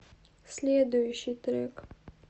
следующий трек